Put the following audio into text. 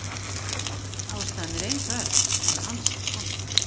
Ástæðan er einföld, en ansi skondin.